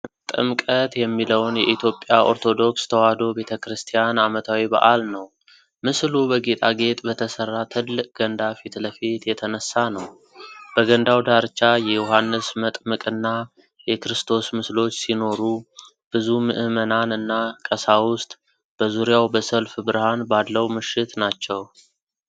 ጥምቀት የሚለውን የኢትዮጵያ ኦርቶዶክስ ተዋሕዶ ቤተ ክርስቲያን ዓመታዊ በዓል ነው። ምስሉ በጌጣጌጥ በተሠራ ትልቅ ገንዳ ፊት ለፊት የተነሳ ነው። በገንዳው ዳርቻ የዮሐንስ መጥምቅና የክርስቶስ ምስሎች ሲኖሩ፣ ብዙ ምእመናን እና ቀሳውስት በዙሪያው በሰልፍ ብርሃን ባለው ምሽት ናቸዉ።